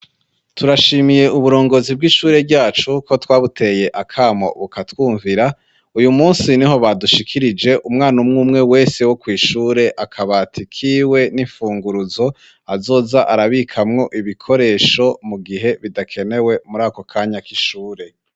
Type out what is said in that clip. Turashimiye uburongozi bw'ishure ryacu ko twabuteye akamo bukatwumvira uyu munsi niho badushikirije umwana umwe umwe wese wo kw'ishure akabati kiwe n'ifunguruzo azoza arabikamwo ibikoresho mu gihe bidakenewe muri ako kanya k'ishure.